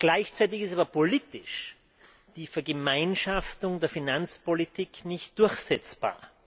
Gleichzeitig ist aber politisch die Vergemeinschaftung der Finanzpolitik nicht durchsetzbar.